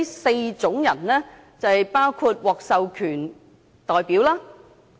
四類"訂明申索人"包括"獲授權代表"。